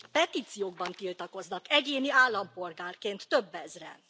Petíciókban tiltakoznak egyéni állampolgárként több ezren.